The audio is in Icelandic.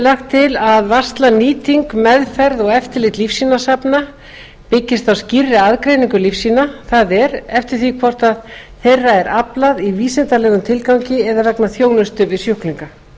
lagt til að varsla nýting meðferð og eftirlit lífsýnasafna byggist á skýrri aðgreiningu lífsýna það er eftir því hvort þeirra er aflað í vísindalegum tilgangi eða vegna þjónustu við sjúklinga